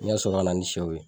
N ka sɔrɔ ka na ni sɛw ye.